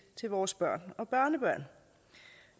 til vores børn og børnebørn